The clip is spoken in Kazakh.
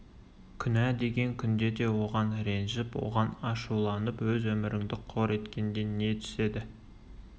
күнә деген күнде де оған ренжіп оған ашуланып өз өміріңді қор еткенде не түседі